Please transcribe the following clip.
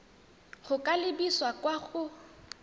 go ka lebisa kwa go